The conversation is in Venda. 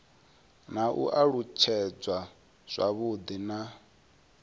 na u alutshedzwa zwavhudi ha